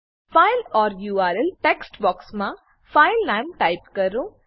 file or URL text box માં file name type કરો